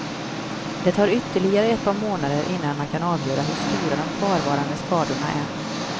Det tar ytterligare ett par månader innan man kan avgöra hur stora de kvarvarande skadorna är.